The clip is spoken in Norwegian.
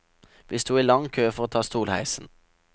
Vi sto i lang kø for å ta stolheisen.